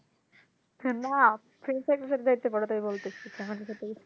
না friends দের সাথে যেতে পারো তাই বলতেছি